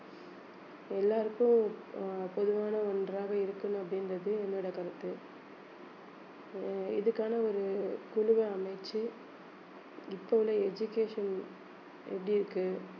எல்லாருக்கும் அஹ் பொதுவான ஒன்றாக இருக்கணும் அப்படின்றது என்னோட கருத்து அஹ் இதுக்கான ஒரு குழுவை அமைத்து இப்போ உள்ள education எப்படி இருக்கு